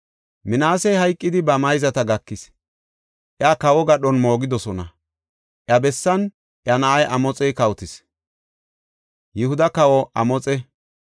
Minaasey hayqidi ba mayzata gakis; iya kawo gadhon moogidosona. Iya bessan iya na7ay Amoxey kawotis.